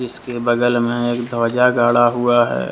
इसके बगल में एक ध्वजा गड़ा हुआ है।